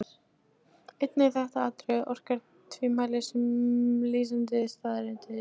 Einnig þetta atriði orkar tvímælis sem lýsandi staðreynd.